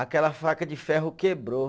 Aquela faca de ferro quebrou.